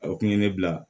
O kun ye ne bila